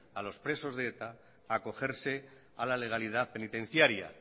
a los presos de eta a acogerse a la legalidad penitenciaria